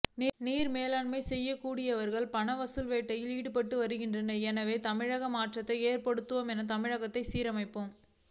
நீர் மேலாண்மை செய்யக்கூடியவர்கள் பண வசூல் வேட்டையில் ஈடுபட்டு வருகிறார்கள் எனவே தமிழகத்தில் மாற்றத்தை ஏற்படுத்துவோம் தமிழகத்தைச் சீரமைப்போம்